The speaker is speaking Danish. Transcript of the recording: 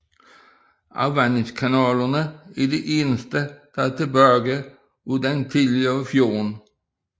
Afvandingskanalerne er det eneste der er tilbage af den tidligere fjord